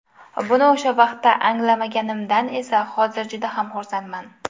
Buni o‘sha vaqtda anglamaganimdan esa hozir juda ham xursandman.